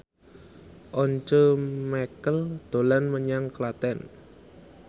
Once Mekel dolan menyang Klaten